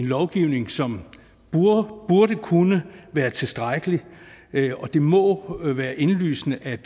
lovgivning som burde kunne være tilstrækkelig og det må være indlysende at